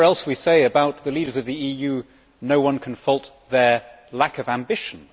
Whatever else we say about the leaders of the EU, no one can fault their lack of ambition.